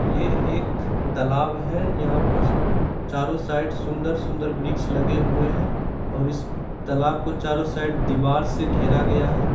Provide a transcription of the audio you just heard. ये एक तालाब है यहाँ पर चारों साइड सुन्दर-सुन्दर वृक्ष लगे हुए हैं और इस तालाब को चारों साइड दिवार से घेरा गया है।